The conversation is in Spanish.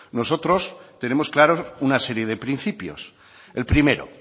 nosotros tenemos claros una serie de principios el primero